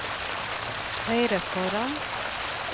høyre foran